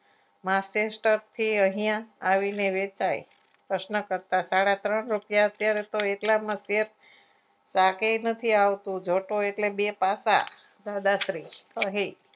master કે અહીંયા આવીને વેચાય પ્રશ્નકર્તા સાડા ત્રણ રૂપિયા અત્યારે તો એટલામાં ચા કે નથી આવતું જોતું એટલે બે તાકા આશરે અહીં.